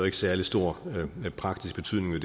ikke særlig stor praktisk betydning